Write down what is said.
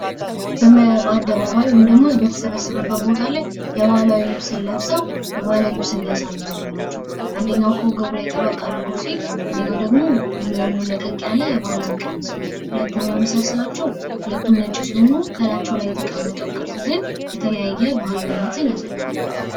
በአደባባይ ወይም ደግሞ በተሰበሰበበት ቦታ ላይ የባህላዊ የልብስ ለብሰው የባህል ልብስን እያሳዩ ያሉ ናቸው። አንደኛው ከወገቡ ላይ ጠበቅ አድርጎ ሲሄድ፤ አንደኛው ደግሞ ሙሉ ለሙሉ ለቀቅ ያለ የባህላዊ ቀሚስ ነው። ሁለቱም የመሳሰላችሁ ሁለቱም ነጭ ሲሆኑ ካላቸው ላይ የተቀመጠው ቅርጽ ግን የተለያየ ባህ፤ አዊነትን ያሳያል።